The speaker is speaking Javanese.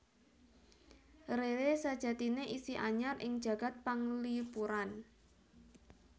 Rere sajatiné isih anyar ing jagad panglipuran